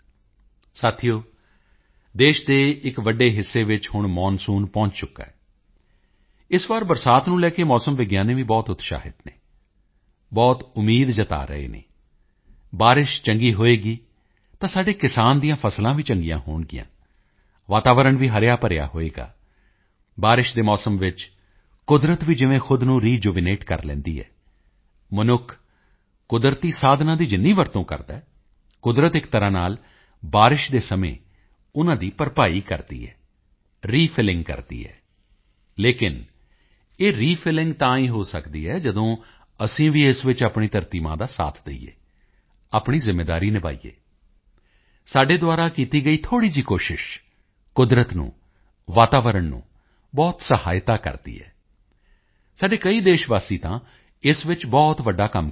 ਸਾਥੀਓ ਦੇਸ਼ ਦੇ ਇੱਕ ਵੱਡੇ ਹਿੱਸੇ ਵਿੱਚ ਹੁਣ ਮੌਨਸੂਨ ਪਹੁੰਚ ਚੁੱਕਾ ਹੈ ਇਸ ਵਾਰ ਬਰਸਾਤ ਨੂੰ ਲੈ ਕੇ ਮੌਸਮ ਵਿਗਿਆਨੀ ਵੀ ਬਹੁਤ ਉਤਸ਼ਾਹਿਤ ਹਨ ਬਹੁਤ ਉਮੀਦ ਜਤਾ ਰਹੇ ਹਨ ਬਾਰਿਸ਼ ਚੰਗੀ ਹੋਵੇਗੀ ਤਾਂ ਸਾਡੇ ਕਿਸਾਨਾਂ ਦੀਆਂ ਫ਼ਸਲਾਂ ਵੀ ਚੰਗੀਆਂ ਹੋਣਗੀਆਂ ਵਾਤਾਵਰਣ ਵੀ ਹਰਿਆਭਰਿਆ ਹੋਵੇਗਾ ਬਾਰਿਸ਼ ਦੇ ਮੌਸਮ ਵਿੱਚ ਕੁਦਰਤ ਵੀ ਜਿਵੇਂ ਖ਼ੁਦ ਨੂੰ ਰਿਜੂਵਨੇਟ ਕਰ ਲੈਂਦੀ ਹੈ ਮਨੁੱਖ ਕੁਦਰਤੀ ਸਾਧਨਾਂ ਦੀ ਜਿੰਨੀ ਵਰਤੋਂ ਕਰਦਾ ਹੈ ਕੁਦਰਤ ਇੱਕ ਤਰ੍ਹਾਂ ਨਾਲ ਬਾਰਿਸ਼ ਦੇ ਸਮੇਂ ਉਨ੍ਹਾਂ ਦੀ ਭਰਪਾਈ ਕਰਦੀ ਹੈ ਰੀਫਿਲਿੰਗ ਕਰਦੀ ਹੈ ਲੇਕਿਨ ਇਹ ਰੀਫਿਲਿੰਗ ਤਾਂ ਹੀ ਹੋ ਸਕਦੀ ਹੈ ਜਦੋਂ ਅਸੀਂ ਵੀ ਇਸ ਵਿੱਚ ਆਪਣੀ ਧਰਤੀ ਮਾਂ ਦਾ ਸਾਥ ਦੇਈਏ ਆਪਣੀ ਜ਼ਿੰਮੇਵਾਰੀ ਨਿਭਾਈਏ ਸਾਡੇ ਦੁਆਰਾ ਕੀਤੀ ਗਈ ਥੋੜ੍ਹੀ ਜਿਹੀ ਕੋਸ਼ਿਸ਼ ਕੁਦਰਤ ਨੂੰ ਵਾਤਾਵਰਣ ਨੂੰ ਬਹੁਤ ਸਹਾਇਤਾ ਕਰਦੀ ਹੈ ਸਾਡੇ ਕਈ ਦੇਸ਼ਵਾਸੀ ਤਾਂ ਇਸ ਵਿੱਚ ਬਹੁਤ ਵੱਡਾ ਕੰਮ ਕਰ ਰਹੇ ਹਨ